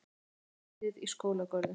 Uppskeruhátíð í skólagörðum